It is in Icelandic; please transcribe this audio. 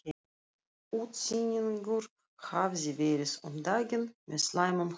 Útsynningur hafði verið um daginn með slæmum hryðjum.